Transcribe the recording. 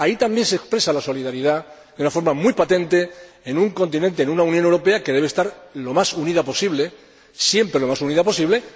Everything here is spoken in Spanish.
Ahí también se expresa la solidaridad de una forma muy patente en un continente, en una Unión Europea que debe estar siempre lo más unida posible.